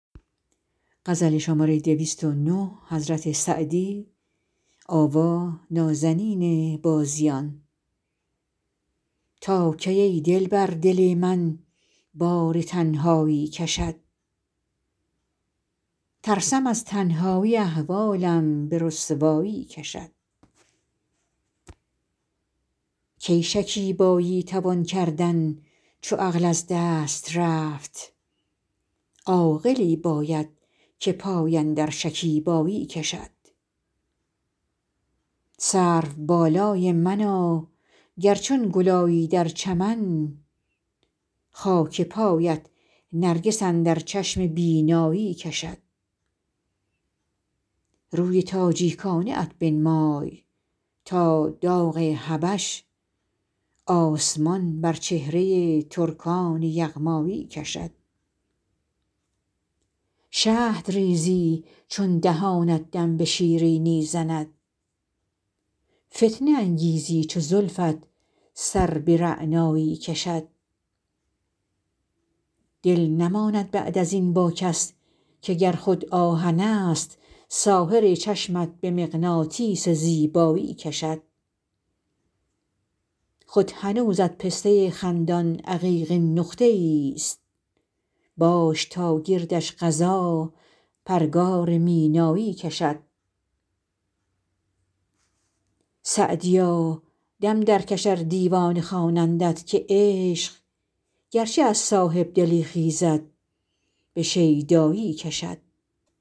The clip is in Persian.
تا کی ای دلبر دل من بار تنهایی کشد ترسم از تنهایی احوالم به رسوایی کشد کی شکیبایی توان کردن چو عقل از دست رفت عاقلی باید که پای اندر شکیبایی کشد سروبالای منا گر چون گل آیی در چمن خاک پایت نرگس اندر چشم بینایی کشد روی تاجیکانه ات بنمای تا داغ حبش آسمان بر چهره ترکان یغمایی کشد شهد ریزی چون دهانت دم به شیرینی زند فتنه انگیزی چو زلفت سر به رعنایی کشد دل نماند بعد از این با کس که گر خود آهنست ساحر چشمت به مغناطیس زیبایی کشد خود هنوزت پسته خندان عقیقین نقطه ایست باش تا گردش قضا پرگار مینایی کشد سعدیا دم درکش ار دیوانه خوانندت که عشق گرچه از صاحب دلی خیزد به شیدایی کشد